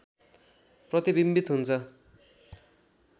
प्रतिबिम्बित हुन्छ